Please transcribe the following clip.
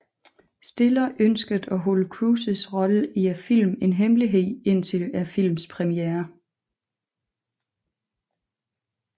Stiller ønskede at holde Cruises rolle i filmen en hemmelighed indtil filmens premiere